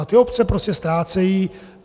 A ty obce prostě ztrácejí.